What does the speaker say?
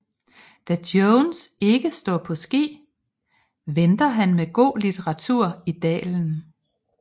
Da Jones ikke står på ski venter han med god litteratur i dalen